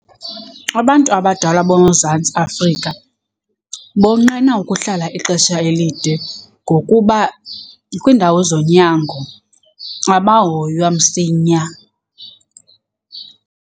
Abantu abadala boMzantsi Afrika bonqena ukuhlala ixesha elide ngokuba kwiindawo zonyango abahoywa msinya.